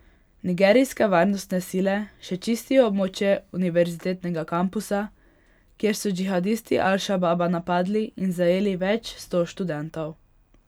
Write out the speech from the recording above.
Nigerijske varnostne sile še čistijo območje univerzitetnega kampusa, kjer so džihadisti Al Šababa napadli in zajeli več sto študentov.